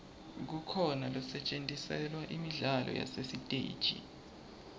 kukhona losetjentiselwa imidlalo yasesiteji